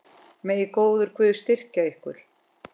Megi góður Guð styrkja ykkur.